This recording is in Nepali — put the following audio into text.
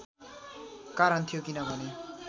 कारण थियो किनभने